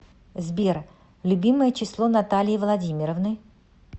сбер любимое число натальи владимировны